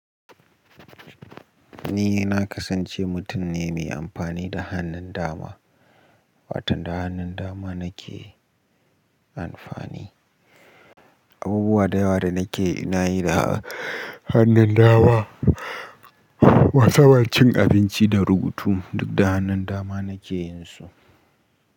Ni na kasance mutum ne mai amfani da hannun dama, wato da hannun dama na ke amfani. Abubuwa da yawa da na ke, na yi da hannun dama. Wasaba cin abinci da rubutu duk da hannun dama na ke yin su.